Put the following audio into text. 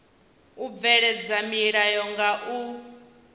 u bveledza milayo nga u